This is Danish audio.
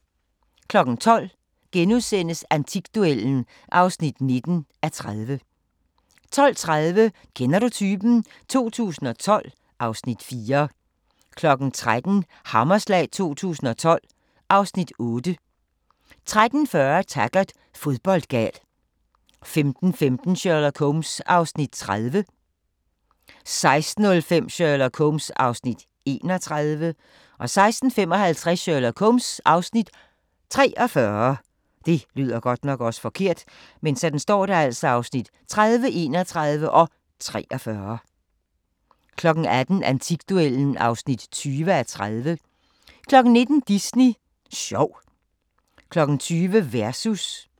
12:00: Antikduellen (19:30)* 12:30: Kender du typen? 2012 (Afs. 4) 13:00: Hammerslag 2012 (Afs. 8) 13:40: Taggart: Fodboldgal 15:15: Sherlock Holmes (Afs. 30) 16:05: Sherlock Holmes (Afs. 31) 16:55: Sherlock Holmes (Afs. 43) 18:00: Antikduellen (20:30) 19:00: Disney sjov 20:00: Versus